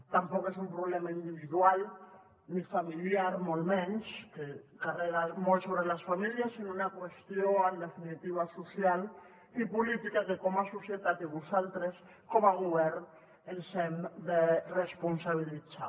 tampoc és un problema individual ni familiar molt menys que carrega molt sobre les famílies sinó una qüestió en definitiva social i política que com a societat i vosaltres com a govern ens n’hem de responsabilitzar